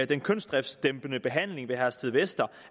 den kønsdriftsdæmpende behandling ved herstedvester